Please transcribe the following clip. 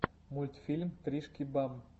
мультфильм тришки бам